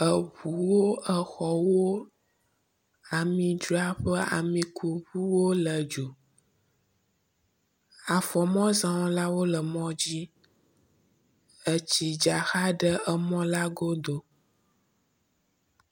Eŋuwo, exɔwo, amidzraƒea, amikuŋuwo lé dzo. Afɔmɔzɔlawo le mɔ dzi. Etsi dza xa ɖe emɔ la godo.